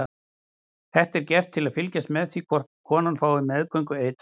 Þetta er gert til að fylgjast með því hvort konan fái meðgöngueitrun.